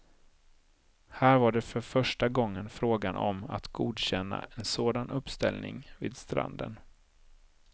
Här var det för första gången frågan om att godkänna en sådan uppställning vid stranden.